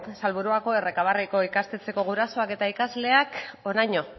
salburuako ikastetxeko gurasoak eta ikasleak honaino